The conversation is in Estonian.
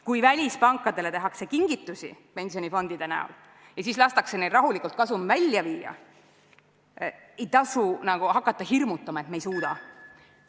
Kui välispankadele tehakse kingitusi pensionifondide kujul ja siis lastakse neil rahulikult kasum välja viia, ei tasu nagu hakata hirmutama, et me ei suuda.